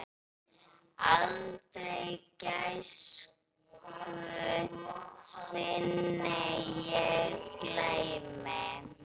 Aldrei gæsku þinni ég gleymi.